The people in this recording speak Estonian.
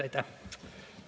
Aitäh!